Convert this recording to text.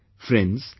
Friends,